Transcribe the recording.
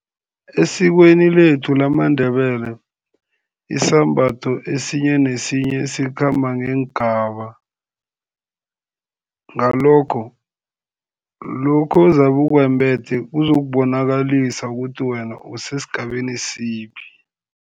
Esikweni lethu lamaNdebele isambatho esinye nesinye sikhamba ngeengaba, ngalokho, lokho ozabe ukwembethe kuzokubonakalisa ukuthi wena usesigabeni siphi.